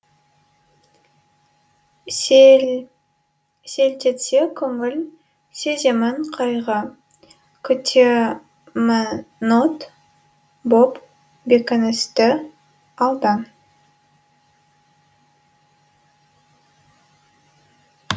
селтетсе көңіл сеземін қайғы күтемін от боп бекіністі алдан